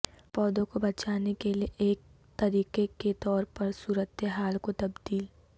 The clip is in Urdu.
پودوں کو بچانے کے لئے کا ایک طریقہ کے طور پر صورت حال کو تبدیل